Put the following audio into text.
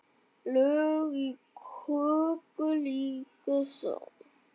Lög í köku líka sá.